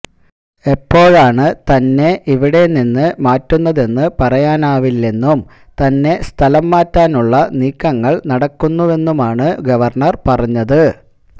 എപ്പോഴാണ് തന്നെ ഇവിടെനിന്ന് മാറ്റുന്നതെന്ന് പറയാനാവില്ലെന്നും തന്നെ സ്ഥലംമാറ്റാനുള്ള നീക്കങ്ങള് നടക്കുന്നുവെന്നുമാണ് ഗവര്ണര് പറഞ്ഞത്